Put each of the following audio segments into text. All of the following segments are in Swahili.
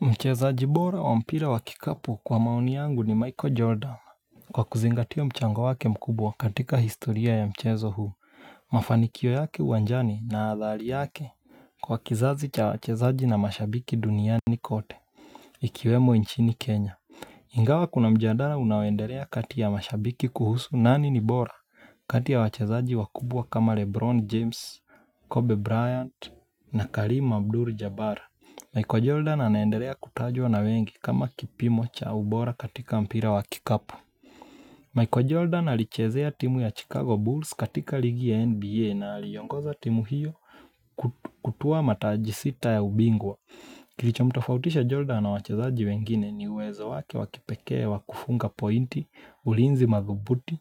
Mchezaji bora wa mpira wa kikapu kwa maoni yangu ni Michael Jordan. Kwa kuzingatia mchango wake mkubwa katika historia ya mchezo huu, mafanikio yake uwanjani na athari yake. Kwa kizazi cha wachezaji na mashabiki duniani kote, ikiwemo inchini Kenya. Ingawa kuna mjadala unaoendelea kati ya mashabiki kuhusu nani ni bora. Kati ya wachezaji wakubwa kama Lebron James, Kobe Bryant na Karim Abdul Jabara. Michael Jordan anaendelea kutajwa na wengi kama kipimo cha ubora katika mpira wa kikapo. Michael Jordan alichezea timu ya Chicago Bulls katika ligi ya NBA na aliongoza timu hiyo kutuwa mataji sita ya ubingwa. Kilicho mtofautisha Jordan na wachezaji wengine ni wezo wake wakipekee wakufunga pointi, ulinzi madhubuti,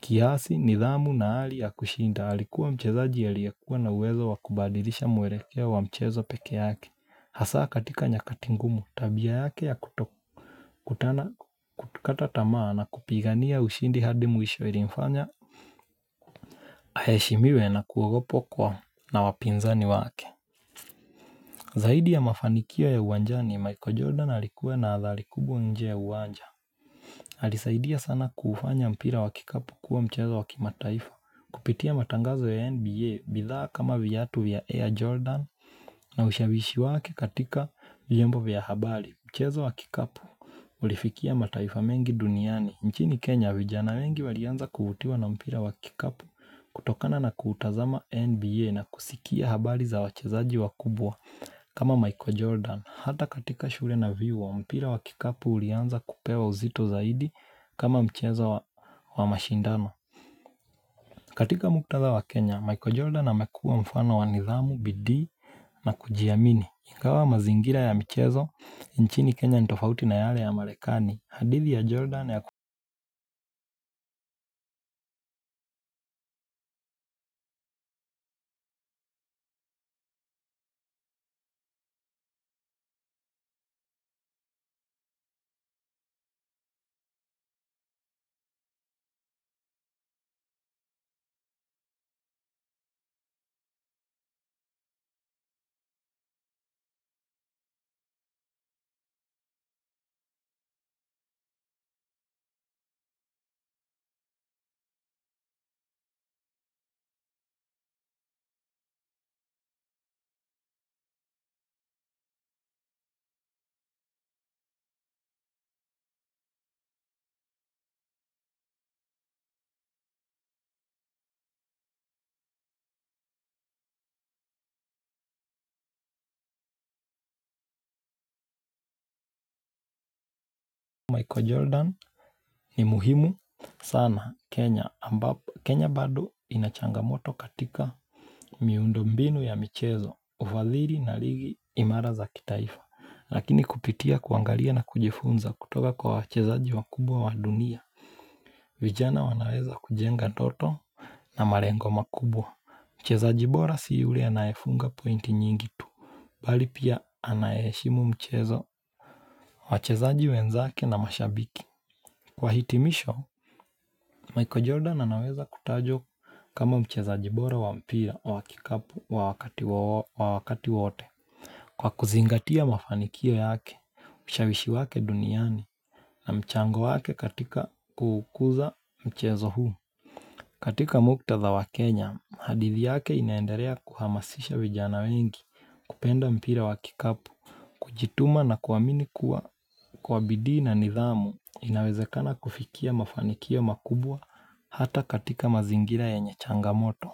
kiasi, nidhamu na hali ya kushinda. Alikuwa mchezaji aliekuwa na uwezo wakubadilisha mwelekeo wa mchezo peke yake. Hasa katika nyakati ngumu tabia yake ya kutokutana kutokata tamaa na kupigania ushindi hadi mwisho ilinfanya aheshimiwe na kuogopwa na wapinzani wake. Zaidi ya mafanikio ya uwanjani, Michael Jordan alikuwa na athari kubwa nje ya uwanja alisaidia sana kufanya mpira wakikapu kuwa mchezo wakimataifa. Kupitia matangazo ya NBA bidhaa kama viyatu vya Air Jordan na ushawishi wake katika vyombo vya habari. Mchezo wa kikapu ulifikia mataifa mengi duniani nchini Kenya vijana wengi walianza kuvutiwa na mpira wa kikapu kutokana na kutazama NBA na kusikia habari za wachezaji wakubwa kama Michael Jordan, Hata katika shule na vyuo, mpira wa kikapu ulianza kupewa uzito zaidi kama mchezo wa mashindano. Katika muktadha wa Kenya, Michael Jordan amekuwa mfano wanidhamu, bidii na kujiamini. Ingawa mazingira ya michezo, nchini Kenya nitofauti na yale ya marekani. Hadithi ya Jordan ya, Michael Jordan ni muhimu sana. Kenya bado inachangamoto katika miundombinu ya michezo, ufadhili na ligi imara za kitaifa. Lakini kupitia kuangalia na kujifunza kutoka kwa wachezaji wakubwa wa dunia. Vijana wanaweza kujenga ndoto na malengo makubwa. Mchezaji bora si yule anayefunga pointi nyingi tu bali pia anayeheshimu mchezo wachezaji wenzake na mashabiki. Kwa hitimisho, Michael Jordan anaweza kutajwa kama mchezaji bora wampira wakikapu wa wakati wote. Kwa kuzingatia mafanikio yake, ushawishi wake duniani na mchango wake katika kuukuza mchezo huu. Katika muktadha wa Kenya, hadithi yake inaendalea kuhamasisha vijana wengi kupenda mpira wa kikapu, kujituma na kuamini kuwa kwa bidii na nidhamu inawezekana kufikia mafanikio makubwa hata katika mazingira yenye changamoto.